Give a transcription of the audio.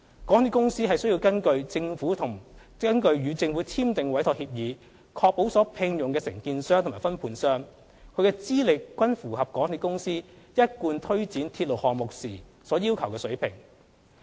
港鐵公司須根據與政府簽訂的委託協議，確保所聘用的承建商及分判商，其資歷均符合港鐵公司一貫推展鐵路項目時所要求的水平。